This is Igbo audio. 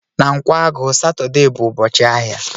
Na Nkwagu, Satọde bụ ụbọchị ahịa